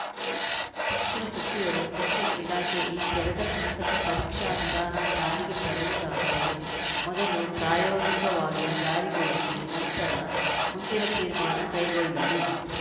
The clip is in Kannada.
ಶಿಕ್ಷಣ ಸಚಿವರು ಶಿಕ್ಷಣ ಇಲಾಖೆ ಈ ತೆರೆದ ಪುಸ್ತಕ ಪರೀಕ್ಷಾ ವಿಧಾನ ಜಾರಿಗೆ ತರುವುದಾದರೆ ಮೊದಲು ಪ್ರಾಯೋಗಿಕವಾಗಿ ಜಾರಿಗೊಳಿಸಿ ನಂತರ ಮುಂದಿನ ತೀರ್ಮಾನ ಕೈಗೊಳ್ಳಲಿ